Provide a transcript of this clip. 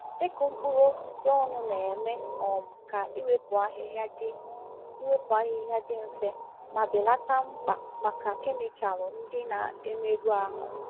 Ịkụ mkpụrụ osisi ọnụ na-eme um ka iwepụ ahịhịa dị iwepụ ahịhịa dị mfe ma belata mkpa maka kemịkal ndị na-emerụ ahụ.